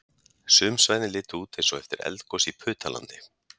Sum svæðin litu út eins og eftir eldgos í Putalandi